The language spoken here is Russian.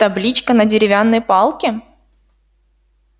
табличка на деревянной палке